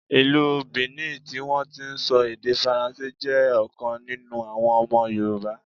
Ìlú Bìní tí wọn ti ń sọ èdè Faransé, jẹ́ ọ̀kan nínú àwọn ọmọ Yorùbá.